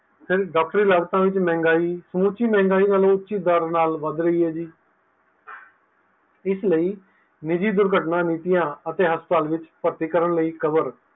ਫਿਰ ਡਾਕਟਰੀ ਲਾਗਤਾਂ ਵਿੱਚ ਮਹਿੰਗਾਈ ਸਮੁੱਚੀ ਮਹਿੰਗਾਈ ਵੱਲੋ ਉੱਚੇ ਦਰ ਨਾਲ ਵੱਧ ਰਹੀ ਹੈ ਜੀ ਇਸ ਲਈ ਨਿੱਜੀ ਦੁਰਘਟਨਾ ਨੀਤੀਆਂ ਅਤੇ ਹਸਪਤਾਲ ਵਿੱਚ ਭਰਤੀ ਕਰਨ ਲਈ cover